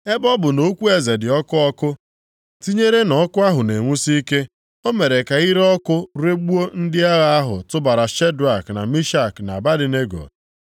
Ebe ọ bụ nʼokwu eze dị ọkụ ọkụ, tinyere na ọkụ ahụ na-enwusi ike, o mere ka ire ọkụ regbuo ndị agha ahụ tụbara Shedrak, na Mishak, na Abednego.